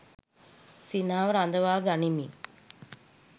සිනහව රඳවා ගනිමින්